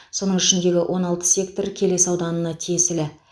соның ішіндегі он алты сектор келес ауданына тиесілі